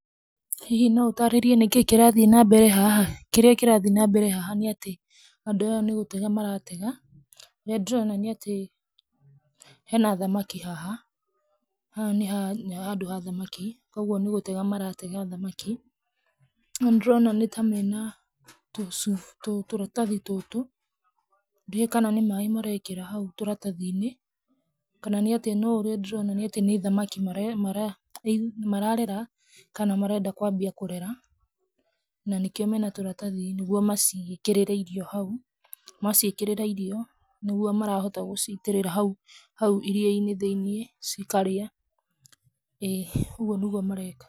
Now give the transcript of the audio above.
Hihi no ũtaarĩrie nĩkĩĩ kĩrathiĩ na mbere haha? Kĩrĩa kĩrathiĩ na mbere haha, nĩ atĩ andũ aya nĩ gũtega maratega. Ũrĩa ndĩrona nĩ atĩ he na thamaki haha, haha nĩ handũ ha thamaki koguo nĩ gũtega maratega thamaki. No nĩndĩrona nĩ ta mena tũcuba, tũratathi tũtũ, ndiũwĩ kana nĩ maĩ marekĩra hau tũratathi-inĩ kana nĩ atĩa, no ũrĩa ndĩrona nĩ atĩ nĩ thamaki mararera kana marenda kwambia kũrera, na nĩkĩo mena tũratathi nĩguo maciĩkĩrĩre irio hau. Maciĩkĩrĩra irio, nĩguo marahota gũcitĩrĩra hau iria-inĩ thĩiniĩ cikarĩa, ĩĩ, ũguo nĩguo mareka.